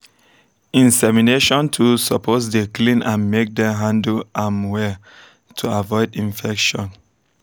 insemination tools suppose dey clean and make dem handle am well to avoid infection